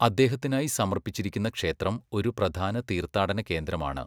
അദ്ദേഹത്തിനായി സമർപ്പിച്ചിരിക്കുന്ന ക്ഷേത്രം ഒരു പ്രധാന തീർത്ഥാടന കേന്ദ്രമാണ്.